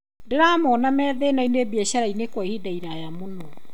Ndĩramonaa methĩnainĩ biatharainĩ kwa ihinda rĩraya mũno